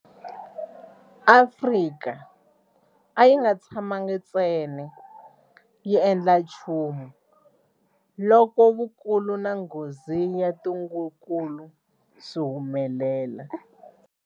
Afrika a yi nga tshamangi ntsena yi nga endli nchumu loko vukulu na nghozi ya ntungukulu swi humelela.